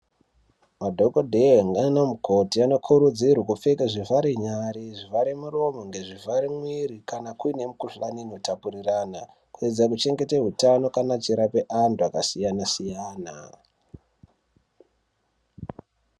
Madhokodheya nana mukoti ano kurudzirwe kupfeka zvi vhare nyari zvivhare muromo ne zvivhare mwiri kana kuine mi ku hlani ino tapurirana kueedza kuchengetedza utano paanenge echi rapa antu aka siyana siyana.